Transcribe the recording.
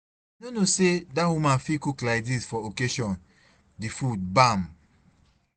I no know say that woman fit cook like dis for occasion, the food bam.